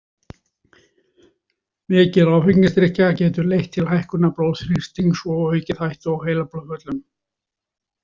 Mikil áfengisdrykkja getur leitt til hækkunar blóðþrýstings og aukið hættu á heilablóðföllum.